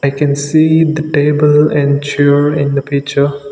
i can see the table and chair in the picture